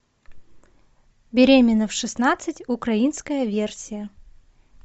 беременна в шестнадцать украинская версия